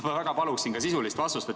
Ma väga palun ka sisulist vastust.